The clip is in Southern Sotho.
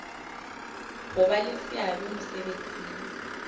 ho ba le seabo mosebetsing